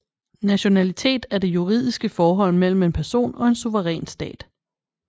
Nationalitet er det juridiske forhold mellem en person og en suveræn stat